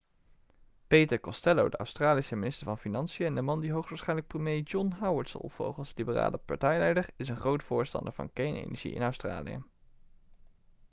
peter costello de australische minister van financiën en de man die hoogstwaarschijnlijk premier john howard zal opvolgen als liberale partijleider is een groot voorstander van kernenergie in australië